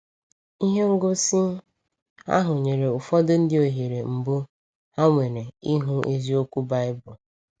Ihe ngosi ahụ nyere ụfọdụ ndị ohere mbụ ha nwere ịhụ eziokwu Baịbụl.